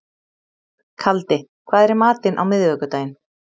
Kaldi, hvað er í matinn á miðvikudaginn?